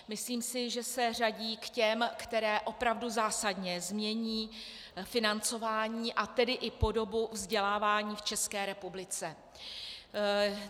Myslím si, že se řadí k těm, které opravdu zásadně změní financování, a tedy i podobu vzdělávání v České republice.